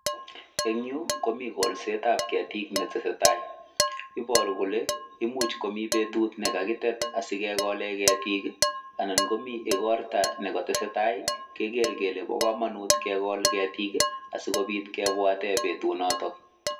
En yu komi kolsetab ketik netesetai, iboru kole imuch komi betut ne kagitet asikegolen ketik, anan komi igorto ne kotesetai keger kele bo komonut kekol ketik asikobit kebwate betunoto.